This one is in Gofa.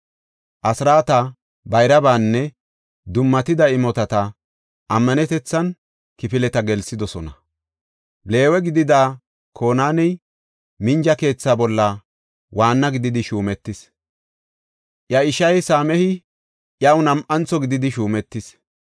Asraata, bayrabanne dummatida imotata ammanetethan kifileta gelsidosona. Leewe gidida Konaaney minja keetha bolla waanna gididi shuumetis. Iya ishay Same7i iyaw nam7antho gididi shuumetis.